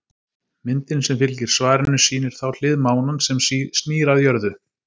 Myndin sem fylgir svarinu sýnir þá hlið mánans sem snýr að jörðu.